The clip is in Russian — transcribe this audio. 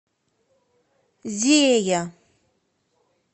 зея